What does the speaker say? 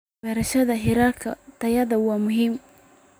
Barashada heerarka tayada waa muhiim.